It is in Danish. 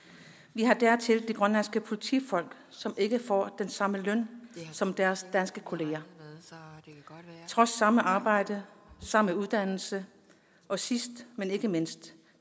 vi har dertil de grønlandske politifolk som ikke får den samme løn som deres danske kollegaer trods samme arbejde og samme uddannelse og sidst men ikke mindst